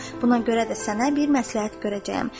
Buna görə də sənə bir məsləhət görəcəyəm.